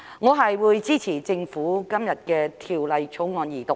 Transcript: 我會支持政府今天提出的《條例草案》二讀。